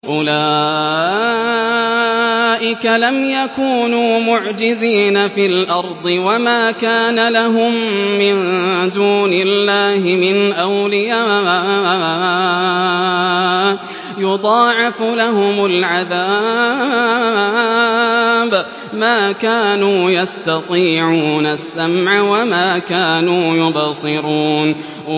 أُولَٰئِكَ لَمْ يَكُونُوا مُعْجِزِينَ فِي الْأَرْضِ وَمَا كَانَ لَهُم مِّن دُونِ اللَّهِ مِنْ أَوْلِيَاءَ ۘ يُضَاعَفُ لَهُمُ الْعَذَابُ ۚ مَا كَانُوا يَسْتَطِيعُونَ السَّمْعَ وَمَا كَانُوا يُبْصِرُونَ